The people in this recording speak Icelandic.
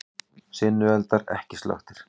Sinueldar ekki slökktir